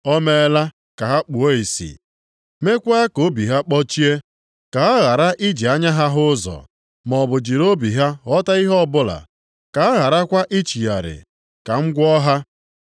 “O meela ka ha kpuo ìsì, mekwa ka obi ha kpọchie Ka ha ghara iji anya ha hụ ụzọ maọbụ jiri obi ha ghọta ihe ọbụla Ka ha gharakwa ichigharị, ka m gwọọ ha.” + 12:40 \+xt Aịz 6:10\+xt*